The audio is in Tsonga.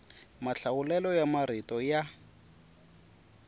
mahlawulelo ya marito ya